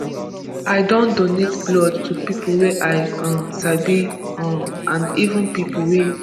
i don donate blood to pipo wey i um sabi um and even pipo wey